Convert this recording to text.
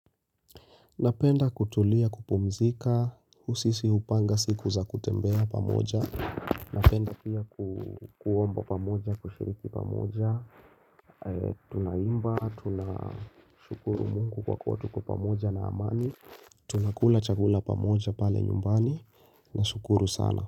Napenda kutulia, kupumzika, sisi hupanga siku za kutembea pamoja Napenda pia kuomba pamoja, kushiriki pamoja Tunaimba, tunashukuru mungu kwa kuwa tuko pamoja na amani Tunakula chakula pamoja pale nyumbani, nashukuru sana.